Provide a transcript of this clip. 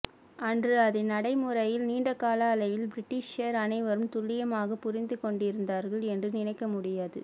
அன்று அதை நடைமுறையில் நீண்டகால அளவில் பிரிட்டிஷார் அனைவரும் துல்லியமாகப் புரிந்துகொண்டிருந்தார்கள் என்று நினைக்கமுடியாது